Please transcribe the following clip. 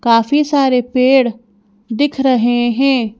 काफी सारे पेड़ दिख रहे हैं।